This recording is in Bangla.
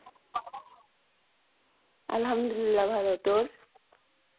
আলহামদুল্লা ভালো তোর?